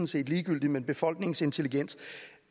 set ligegyldigt men befolkningens intelligens